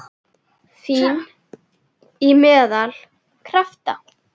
Fín- Í meðal- Krafta